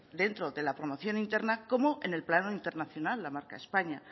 dentro de la promoción interna como en el plano internacional la marca españa